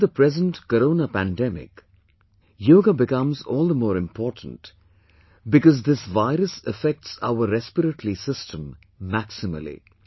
during the present Corona pandemic, Yoga becomes all the more important, because this virus affects our respiratory system maximally